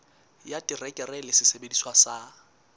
ya terekere le sesebediswa sa